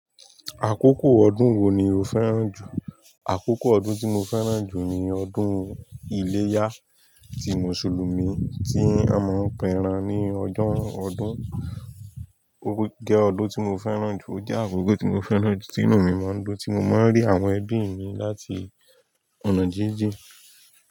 Àkókò ọdún wo ni o fẹ́ràn jù? Àkókò ọdún tí mo fẹ́ràn jù ni ọdún iléyá ti Mùsùlùmí tí a máa ń péran ní ọjọ́ ọdún. Ó jẹ́ ọdún tí mo fẹ́ràn jù, ó jẹ́ àkókò tí mo fẹ́ràn jù tí inú mi máa ń dun, tí mo máa ń rí àwọn ẹbí mi láti ọ̀nà jíjìn.